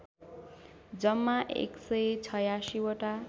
जम्मा १८६ वटा